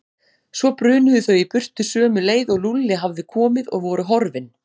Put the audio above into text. Svo brunuðu þau í burtu sömu leið og Lúlli hafði komið og voru horfin.